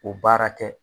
O baara tɛ